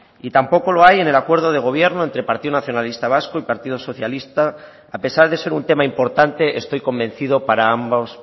y tampoco lo hay en el acuerdo de gobierno entre partido nacionalista vasco y partido socialista a pesar de ser un tema importante estoy convencido para ambos